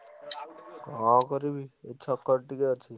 କଣ କରିବି, ଏଇ ଛକରେ ଟିକେ ଅଛି।